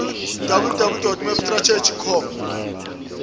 www mapstrategy com